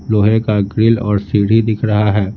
लोहे का ग्रिल और सीढ़ी दिख रहा है।